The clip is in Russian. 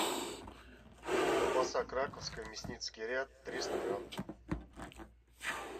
колбаса краковская мясницкий ряд триста грамм